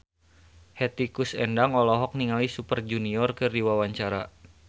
Hetty Koes Endang olohok ningali Super Junior keur diwawancara